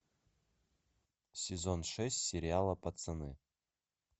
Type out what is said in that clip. сезон шесть сериала пацаны